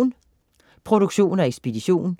Produktion og ekspedition: